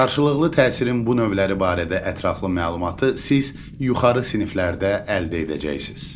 Qarşılıqlı təsirin bu növləri barədə ətraflı məlumatı siz yuxarı siniflərdə əldə edəcəksiniz.